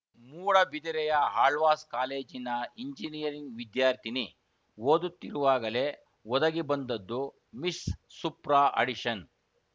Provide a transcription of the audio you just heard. ಮೂಡಬಿದಿರೆಯ ಆಳ್ವಾಸ್‌ ಕಾಲೇಜಿನ ಇಂಜಿನಿಯರಿಂಗ್‌ ವಿದ್ಯಾರ್ಥಿನಿ ಓದುತ್ತಿರುವಾಗಲೇ ಒದಗಿಬಂದದ್ದು ಮಿಸ್‌ ಸುಪ್ರಾ ಅಡಿಷನ್‌